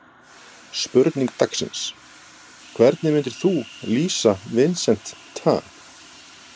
Spurning dagsins: Hvernig myndir þú lýsa Vincent Tan?